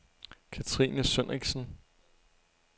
Catrine Sønnichsen